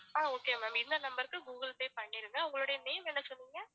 ஆஹ் okay ma'am இந்த number க்கு google pay பண்ணிருங்க உங்களோட name என்ன சொன்னிங்க